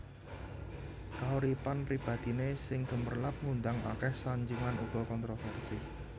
Kauripan pribadiné sing gemerlap ngundang akèh sanjungan uga kontrovèrsi